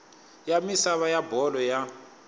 ya misava ya bolo ya